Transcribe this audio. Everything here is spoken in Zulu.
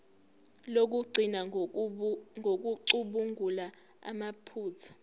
lokugcina ngokucubungula amaphutha